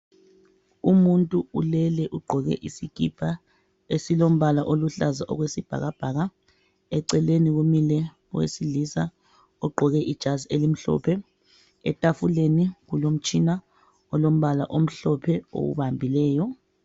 Umuntu ulele ugqoke isikipa esilombala oluhlaza okwesibhakabhaka eceleni kumile owesilisa ogqoke ijazi elimhlophe, etafuleni. kulomtshina alombala omhlophe owubambileyo.